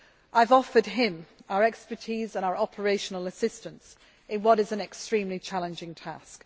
I have offered him our expertise and our operational assistance in what is an extremely challenging task.